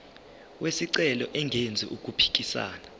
wesicelo engenzi okuphikisana